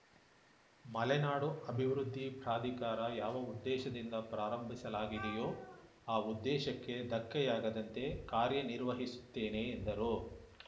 ಮಲೆನಾಡು ಅಭಿವೃದ್ಧಿ ಪ್ರಾಧಿಕಾರ ಯಾವ ಉದ್ದೇಶದಿಂದ ಪ್ರಾರಂಭಿಸಲಾಗಿದೆಯೋ ಆ ಉದ್ದೇಶಕ್ಕೆ ಧಕ್ಕೆಯಾಗದಂತೆ ಕಾರ್ಯನಿರ್ವಹಿಸುತ್ತೇನೆ ಎಂದರು